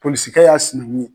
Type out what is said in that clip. Polisikɛ y'a sinɛnkun ye